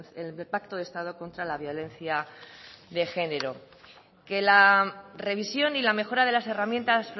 el pacto de estado contra la violencia de genero que la revisión y la mejora de las herramientas